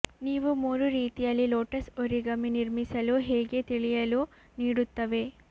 ನೀವು ಮೂರು ರೀತಿಯಲ್ಲಿ ಲೋಟಸ್ ಒರಿಗಮಿ ನಿರ್ಮಿಸಲು ಹೇಗೆ ತಿಳಿಯಲು ನೀಡುತ್ತವೆ